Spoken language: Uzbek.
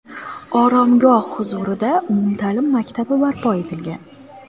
Oromgoh huzurida umumta’lim maktabi barpo etilgan.